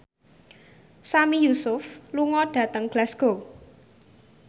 Sami Yusuf lunga dhateng Glasgow